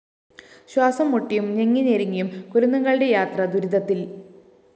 ശ്വാസംമുട്ടിയും ഞെങ്ങി ഞെരുങ്ങിയും കുരുന്നുകളുടെ യാത്ര ദുരിതത്തില്‍